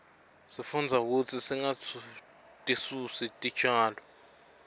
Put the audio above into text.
sifundza kutsi singatisusi titjalo